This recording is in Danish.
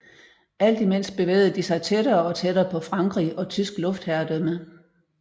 Alt imens bevægede de sig tættere og tættere på Frankrig og tysk luftherredømme